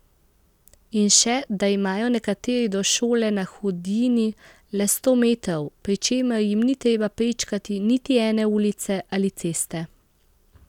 In še, da imajo nekateri do šole na Hudinji le sto metrov, pri čemer jim ni treba prečkati niti ene ulice ali ceste.